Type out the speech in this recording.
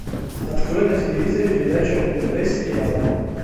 открой на телевизоре передачу нтв сериал